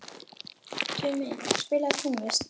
Tumi, spilaðu tónlist.